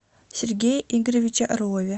сергее игоревиче орлове